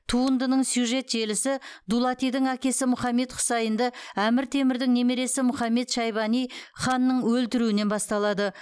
туындының сюжет желісі дулатидің әкесі мұхаммед хұсайынды әмір темірдің немересі мұхаммед шайбани ханның өлтіруінен басталады